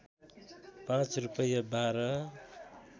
पाँच रूपैयाँ बाह्र